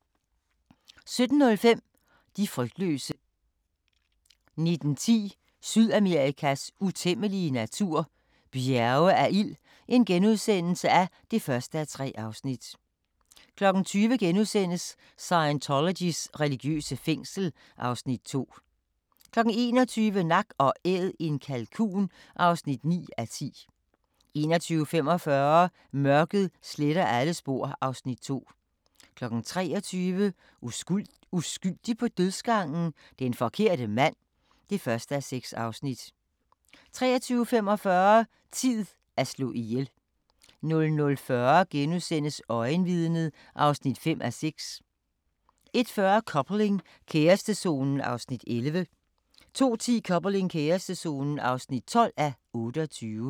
17:05: De frygtløse 19:10: Sydamerikas utæmmelige natur – bjerge af ild (1:3)* 20:00: Scientologys religiøse fængsel (Afs. 2)* 21:00: Nak & Æd - en kalkun (9:10) 21:45: Mørket sletter alle spor (Afs. 2) 23:00: Uskyldig på dødsgangen? Den forkerte mand (1:6) 23:45: Tid at slå ihjel 00:40: Øjenvidnet (5:6)* 01:40: Coupling – kærestezonen (11:28) 02:10: Coupling – kærestezonen (12:28)